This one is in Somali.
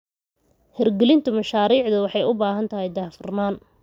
Hirgelinta mashaariicda waxay u baahan tahay daahfurnaan.